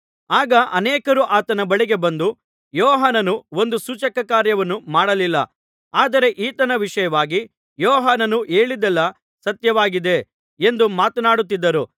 ಆಗ ಅನೇಕರು ಆತನ ಬಳಿಗೆ ಬಂದು ಯೋಹಾನನು ಒಂದು ಸೂಚಕಕಾರ್ಯವನ್ನೂ ಮಾಡಲಿಲ್ಲ ಆದರೆ ಈತನ ವಿಷಯವಾಗಿ ಯೋಹಾನನು ಹೇಳಿದ್ದೆಲ್ಲಾ ಸತ್ಯವಾಗಿದೆ ಎಂದು ಮಾತನಾಡುತ್ತಿದ್ದರು